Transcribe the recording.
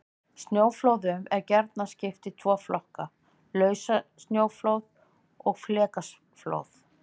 Snjóflóðum er gjarnan skipt í tvo flokka: Lausasnjóflóð og flekaflóð.